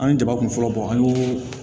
An ye jabakun fɔlɔ bɔ an ye